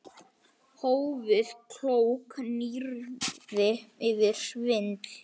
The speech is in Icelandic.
Hófið- Klókt nýyrði yfir svindl?